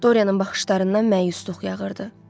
Doryanın baxışlarından məyusluq yağırdı.